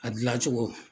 A gilan cogo